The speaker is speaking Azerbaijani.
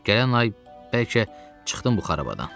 Gələn ay bəlkə çıxdım bu xarabdan.